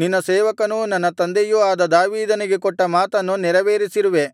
ನಿನ್ನ ಸೇವಕನೂ ನನ್ನ ತಂದೆಯೂ ಆದ ದಾವೀದನಿಗೆ ಕೊಟ್ಟ ಮಾತನ್ನು ನೆರವೇರಿಸಿರುವೆ